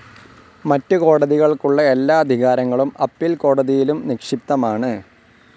മറ്റ് കോടതികൾക്കുള്ള എല്ലാ അധികാരങ്ങളും അപ്പീൽ കോടതിയിലും നിക്ഷിപ്തമാണ്.